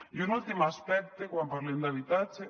i un últim aspecte quan parlem d’habitatge